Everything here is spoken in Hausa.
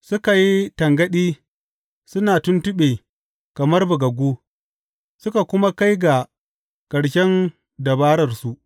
Suka yi tangaɗi suna tuntuɓe kamar bugaggu; suka kuma kai ga ƙarshen dabararsu.